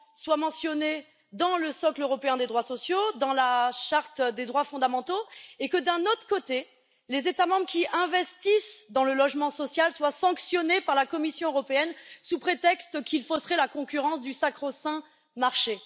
soit mentionné dans le socle européen des droits sociaux et dans la charte des droits fondamentaux et que, d'un autre côté, les États membres qui investissent dans le logement social soient sanctionnés par la Commission européenne sous prétexte qu'ils fausseraient la concurrence du sacro saint marché?